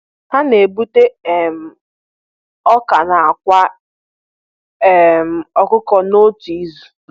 Ha na-egbute um ọka na àkwá um ọkụkọ n'otu izu.